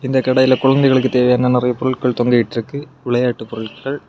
இந்த கடையில குழந்தைகளுக்கு தேவையான நெறைய பொருட்கள் தொங்கிட்ருக்கு விளையாட்டு பொருட்கள்.